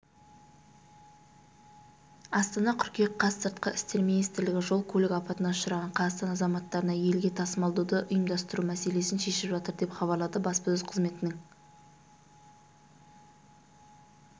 астана қыркүйек қаз сыртқы істер министрлігі жол-көлік апатына ұшыраған қазақстан азаматтарын елге тасымалдауды ұйымдастыру мәселесін шешіп жатыр деп хабарлады баспасөз қызметінің